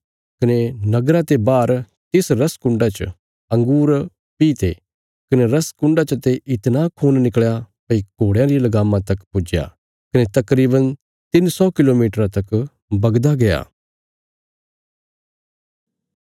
कने नगरा ते बाहर तिस रस कुण्डा च अंगूर पीह्ते कने रस कुण्डा चते इतणा खून निकल़या भई घोड़यां री लगामां तक पुज्या कने तकरीवन तिन्न सौ किलोमीटरा तक बगदा गया